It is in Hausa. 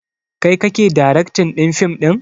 Kai kake daraktin ɗin fim ɗin?